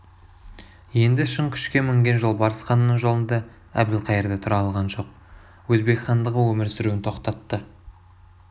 енді шын күшке мінген жолбарыс ханның жолында әбілқайыр да тұра алған жоқ өзбек хандығы өмір сүруін тоқтатты